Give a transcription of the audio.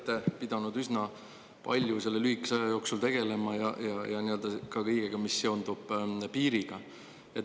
Te olete pidanud üsna palju selle lühikese aja jooksul tegelema ja nii-öelda ka kõigega, mis seondub piiriga.